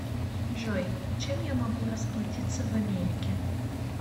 джой чем я могу расплатиться в америке